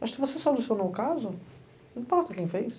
Mas se você solucionou o caso, não importa quem fez.